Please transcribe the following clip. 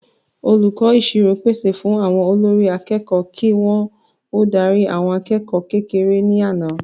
Olùkọ́ ìṣirò pàṣẹ fún àwọn olórí akẹ́kọ̀ọ́ kí wọ́n ó darí àwọn akẹ́kọ̀ọ́ kékeré ní àná